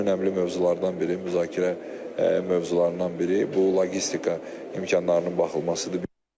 Ən önəmli mövzulardan biri müzakirə mövzularından biri bu logistika imkanlarının baxılmasıdır.